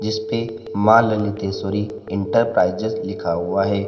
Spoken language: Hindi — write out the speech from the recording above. इसपे मां ललितेश्वरी इंटरप्राइजेज लिखा हुआ है।